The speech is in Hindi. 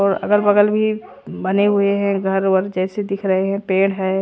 और अगलबगल भी बने हुए हैं घर वर जैसे दिख रहे हैं पेड़ हैं।